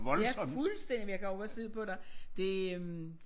Ja fuldstændig men jeg kan også godt se det på dig det øh